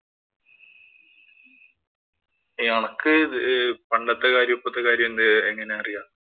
അണക്ക് പണ്ടത്തെ കാര്യങ്ങളും, ഇപ്പോഴത്തെ കാര്യവും എങ്ങനെയറിയാം?